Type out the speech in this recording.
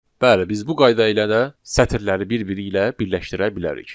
Bəli, biz bu qayda ilə də sətirləri bir-biri ilə birləşdirə bilərik.